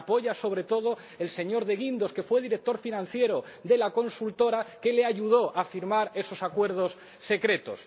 Y le apoya sobre todo el señor de Guindos, que fue director financiero de la consultora que le ayudó a firmar esos acuerdos secretos.